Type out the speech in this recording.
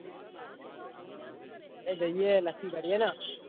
અરે જઈએ નક્કી કરીએ ને.